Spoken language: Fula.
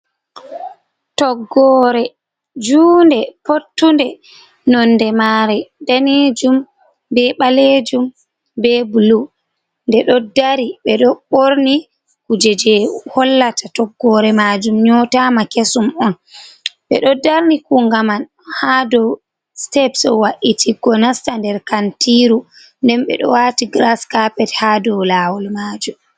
Toggore junɗe pottunde nonde mare danejum, Ɓe Ɓalejum, Ɓe blu, Nɗe ɗo dari ɓedo ɓorni kuje je hollata toggore majum nyotama kesum on. Ɓe do darni kungaman ha ɗow steps wa’iti go nasta ɗer kantiru ɗen ɓedo wati gras carpet ha dow lawol majum.